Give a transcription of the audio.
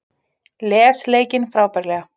Les leikinn frábærlega